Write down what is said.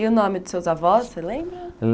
E o nome dos seus avós, você lembra?